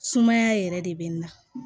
Sumaya yɛrɛ de bɛ na